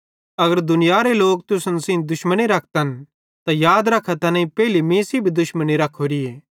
अगर दुनियारे लोक तुसन सेइं दुश्मनी रखतन त याद रखा कि तैनेईं पेइले मीं सेइं दुश्मनी रख्खोरी